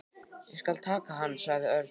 Ég skal taka hann sagði Örn.